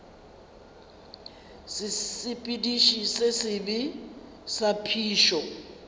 sesepediši se sebe sa phišo